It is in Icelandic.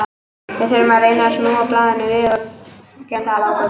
Við þurfum að reyna að snúa við blaðinu og við gerum það að lokum.